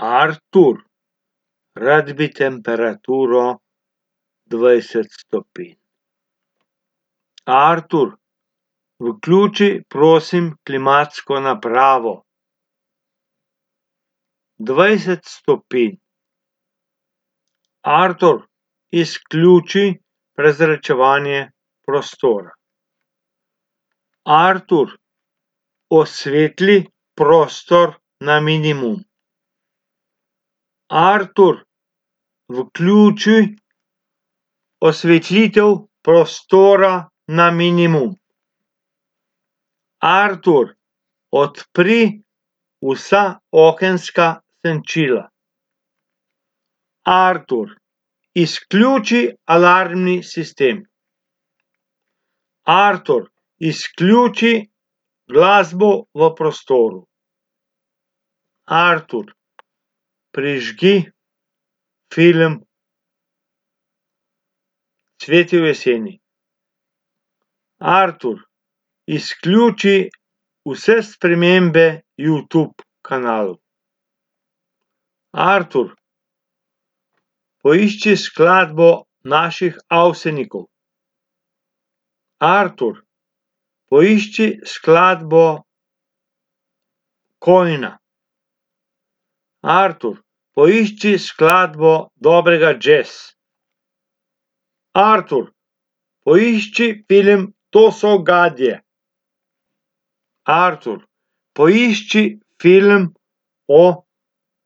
Artur, rad bi temperaturo dvajset stopinj. Artur, vključi, prosim, klimatsko napravo. Dvajset stopinj. Artur, izključi prezračevanje prostora. Artur, osvetli prostor na minimum. Artur, vključi osvetlitev prostora na minimum. Artur, odpri vsa okenska senčila. Artur, izključi alarmni sistem. Artur, izključi glasbo v prostoru. Artur, prižgi film Cvetje v jeseni. Artur, izključi vse spremembe Youtube kanalu. Artur, poišči skladbo naših Avsenikov. Artur, poišči skladbo Kolina. Artur, poišči skladbo dobrega jazza. Artur, poišči film To so gadje. Artur, poišči film o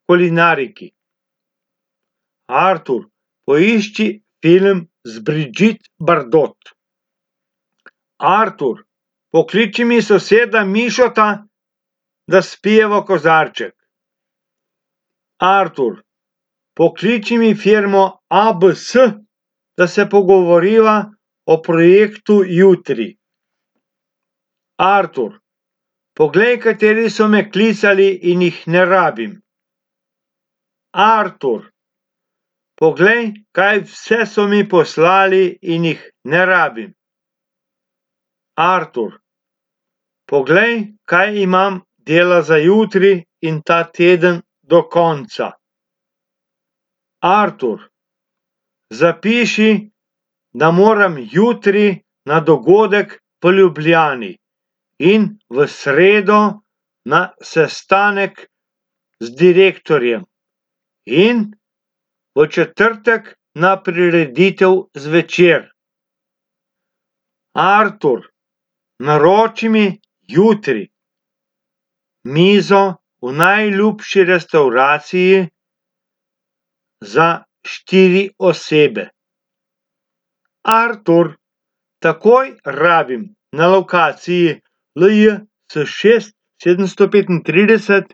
kulinariki. Artur, poišči film z Brigitte Bardot. Artur, pokliči mi soseda Mišota, da spijeva kozarček. Artur, pokliči mi firmo ABS, da se pogovoriva o projektu jutri. Artur, poglej, kateri so me klicali in jih ne rabim. Artur, poglej, kaj vse so mi poslali in jih ne rabim. Artur, poglej, kaj imam dela za jutri in ta teden do konca. Artur, zapiši, da moram jutri na dogodek v Ljubljani in v sredo na sestanek z direktorjem in v četrtek na prireditev zvečer. Artur, naroči mi jutri mizo v najljubši restavraciji za štiri osebe. Artur, takoj rabim na lokaciji LJ C šest sedemsto petintrideset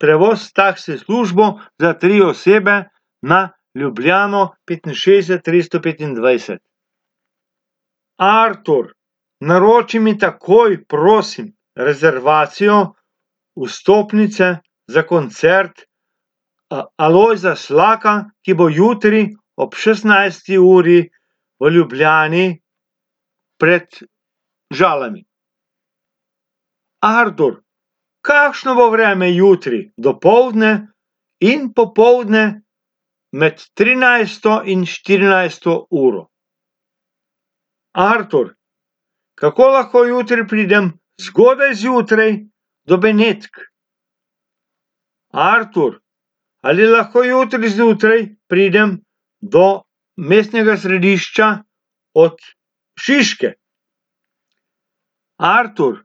prevoz s taksi službo za tri osebe na Ljubljano petinšestdeset tristo petindvajset. Artur, naroči mi takoj, prosim, rezervacijo vstopnice za koncert Alojza Slaka, ki bo jutri ob šestnajsti uri v Ljubljani pred Žalami. Artur, kakšno bo vreme jutri dopoldne in popoldne med trinajsto in štirinajsto uro? Artur, kako lahko jutri pridem zgodaj zjutraj do Benetk? Artur, ali lahko jutri zjutraj pridem do mestnega središča od Šiške? Artur,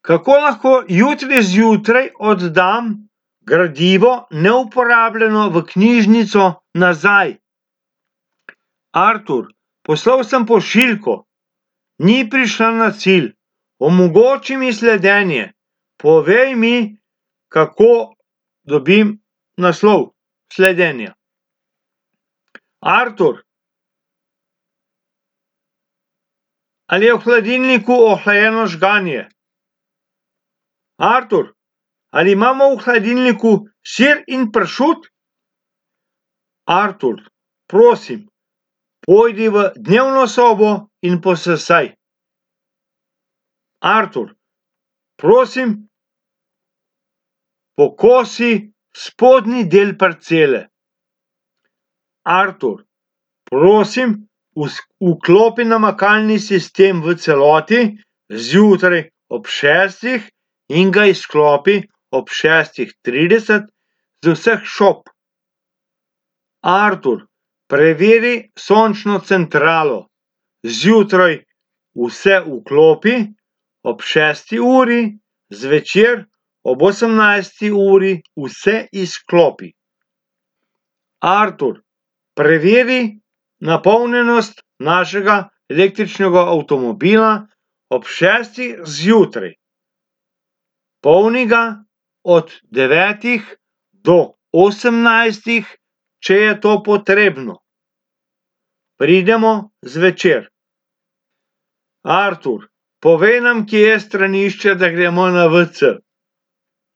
kako lahko jutri zjutraj oddam gradivo neuporabljeno v knjižnico nazaj? Artur, poslal sem pošiljko. Ni prišla na cilj. Omogoči mi sledenje. Povej mi, kako dobim naslov sledenja. Artur, ali je v hladilniku ohlajeno žganje? Artur, ali imamo v hladilniku sir in pršut? Artur, prosim, pojdi v dnevno sobo in posesaj. Artur, prosim, pokosi spodnji del parcele. Artur, prosim vklopi namakalni sistem v celoti zjutraj ob šestih in ga izklopi ob šestih trideset z vseh šob. Artur, preveri sončno centralo. Zjutraj vse vklopi ob šesti uri, zvečer ob osemnajsti uri vse izklopi. Artur, preveri napolnjenost našega električnega avtomobila ob šestih zjutraj. Polni ga od devetih do osemnajstih, če je to potrebno. Pridemo zvečer. Artur, povej nam, kje je stranišče, da gremo na WC.